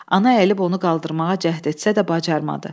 Ana əyilib onu qaldırmağa cəhd etsə də bacarmadı.